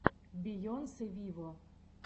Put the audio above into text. бейонсе виво